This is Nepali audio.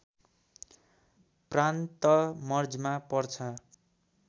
प्रान्त मर्जमा पर्छ